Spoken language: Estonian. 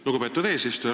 Lugupeetud eesistuja!